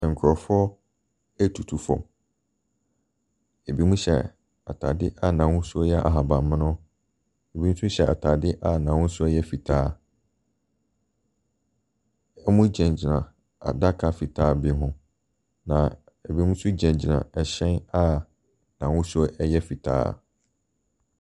Nkurɔfoɔ retutu fam. Ɛbinom hyɛ atadeɛ a n'ahosuo yɛ ahabammono. Bi nso hyɛ atadeɛ a n'ahosuo yɛ fitaa. Wɔgyinagyina adaka fitaa bi ho, na ɛbinom nso gyinagyina ɛhyɛ a n'ahosuo yɛ fitaa.